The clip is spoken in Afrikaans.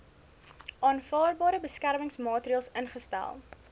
aanvaarbare beskermingsmaatreels ingestel